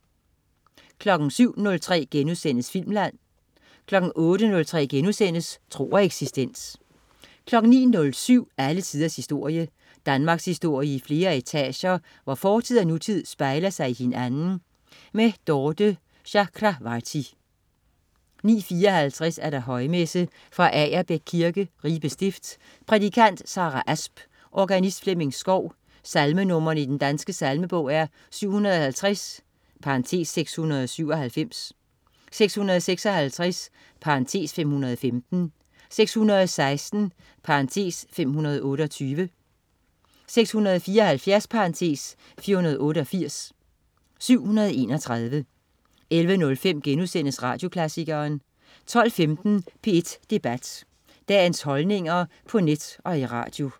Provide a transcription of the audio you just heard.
07.03 Filmland* 08.03 Tro og eksistens* 09.07 Alle tiders historie. Danmarkshistorie i flere etager, hvor fortid og nutid spejler sig i hinanden. Dorthe Chakravarty 09.54 Højmesse. Fra Agerbæk Kirke, Ribe Stift. Prædikant: Sarah Asp. Organist: Flemming Skov. Salmenr. i Den Danske Salmebog: 750 (697), 656 (515), 616 ( 528), 674 (488), 731 11.05 Radioklassikeren* 12.15 P1 Debat. Dagens holdninger på net og i radio